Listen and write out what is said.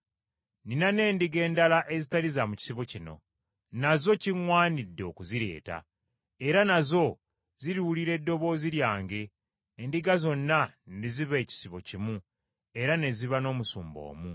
Nnina n’endiga endala ezitali za mu kisibo kino, nazo kiŋŋwanidde okuzireeta, era nazo ziriwulira eddoboozi lyange, endiga zonna ne ziba ekisibo kimu era ne ziba n’omusumba omu.